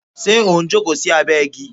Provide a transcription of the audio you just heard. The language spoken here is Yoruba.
Ṣé o n jókòó sí abẹ igi?